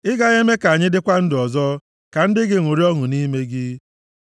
Ị gaghị eme ka anyị dịkwa ndụ ọzọ ka ndị gị ṅụrịa ọṅụ nʼime gị?